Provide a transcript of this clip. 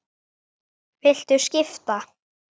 Viltu skipta?